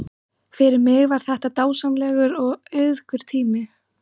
Fyrir mig var það dásamlegur og auðugur tími.